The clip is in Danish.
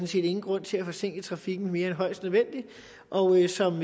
set ingen grund til at forsinke trafikken mere end højst nødvendigt og som